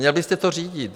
Měl byste to řídit.